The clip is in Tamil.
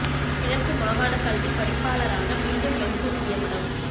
கிழக்கு மாகாணக் கல்விப் பணிப்பாளராக மீண்டும் மன்சூர் நியமனம்